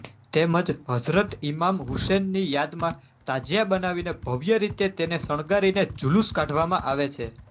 તેમજ હજરત ઇમામ હુસેનની યાદમાં તાજિયા બનાવીને ભવ્ય રીતે તેને શણગારીને જુલૂસ કાઢવામાં આવે છે